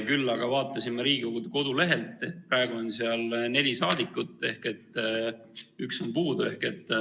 Küll aga vaatasin ma Riigikogu kodulehelt, et praegu on seal neli saadikut ehk üks on puudu.